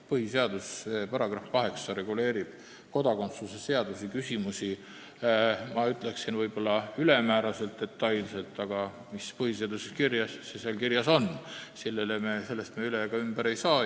Põhiseaduse § 8 reguleerib kodakondsuse küsimusi, ma ütleksin, ülemäära detailselt, aga mis on põhiseaduses kirjas, see seal kirjas on – sellest me üle ega ümber ei saa.